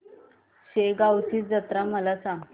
शेगांवची जत्रा मला सांग